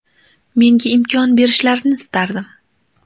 Menga imkon berishlarini istardim.